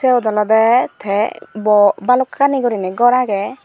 sut olode te bhalokkani guriney ghor age.